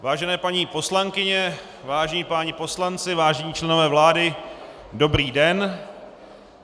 Vážené paní poslankyně, vážení páni poslanci, vážení členové vlády, dobrý den.